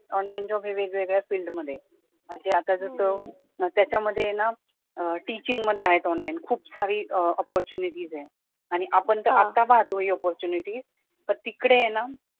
online job हा वेगवेगळ्या field मध्ये असतो, म्हणजे आता कसं मग त्याच्यामध्ये ना टिचिंग मध्ये आहे ऑनलाईन खूप सारी अपॉर्च्युनिटीज आहे आणि आपण तर आता पाहतो या अपॉर्च्युनिटीज पण तिकडे हे ना